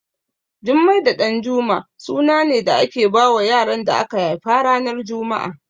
Jummai da Ɗanjuma suna ne da ake bawa yaran da aka haifa ranar juma'a